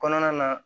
Kɔnɔna na